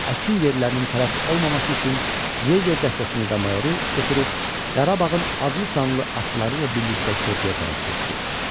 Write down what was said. Əkin yerlərinin tələf olmaması üçün Yeqer dəstəsini və mayoru götürüb, Qarabağın adlı-sanlı atlıları ilə birlikdə körpüyə tərəf getdi.